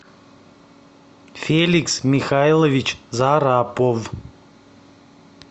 феликс михайлович зарапов